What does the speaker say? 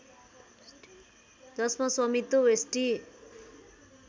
जसमा स्वामित्व वेस्टी